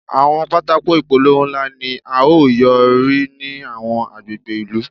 Àwọn pátákó ìpolówó ńlá ni a ó yóò rí ní àwọn agbègbè ìlú.